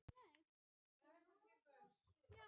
Já, gíraffar gefa frá sér hljóð.